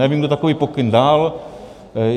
Nevím, kdo takový pokyn dal.